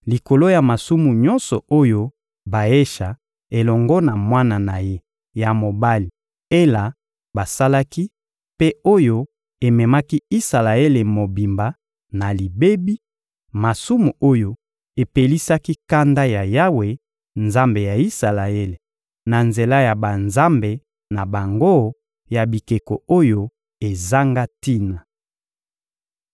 likolo ya masumu nyonso oyo Baesha elongo na mwana na ye ya mobali Ela basalaki mpe oyo ememaki Isalaele mobimba na libebi; masumu oyo epelisaki kanda ya Yawe, Nzambe ya Isalaele, na nzela ya banzambe na bango ya bikeko oyo ezanga tina.